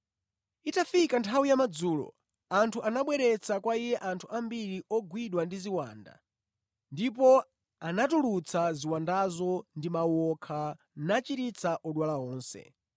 Itafika nthawi yamadzulo, anthu anabweretsa kwa Iye anthu ambiri ogwidwa ndi ziwanda ndipo anatulutsa ziwandazo ndi mawu okha, nachiritsa odwala onse.